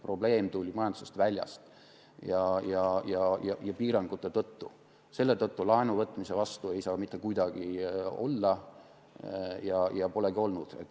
Probleem tuli majandusest väljastpoolt ja piirangute tõttu, selle tõttu ei saa laenuvõtmise vastu mitte kuidagi olla ja polegi oldud.